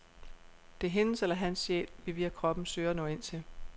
Det er hendes eller hans sjæl, vi via kroppen søger at nå ind til.